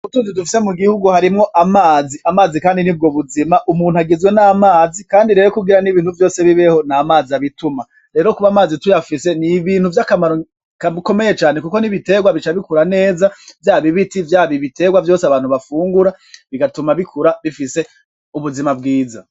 Mubutunzi dufise mugihugu harimwo amazi, amazi kandi nibwo buzima umuntu agizwe n'amazi kandi rero kugira ibintu vyose bibeho n'amazi abituma, rero kuba amazi tuyafise n'ibintu vyakamaro kakomeye cane kuko n'ibiterwa bica bikura neza vyaba ibiti vyaba ibiterwa vyose abantu bafungura bigatuma bikura bifise ubuzima bwiza.